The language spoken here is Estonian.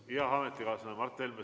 Hea ametikaaslane Mart Helme!